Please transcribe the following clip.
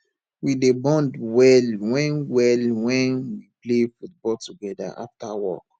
we dey bond well wen well wen we play football togeda after work